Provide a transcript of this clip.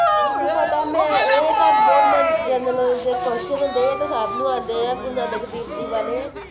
ਮੈਨੂੰ ਪਤਾ ਹੈ ਆਏ ਤੇ ਬਹੁਤ ਮੈਂ general knowledge ਦੇ question ਹੁੰਦੇ ਹੈ ਆਏ ਤਾਂ ਸਬਨੁ ਆਉਂਦੇ ਹਾਂ ਵਾਲੇ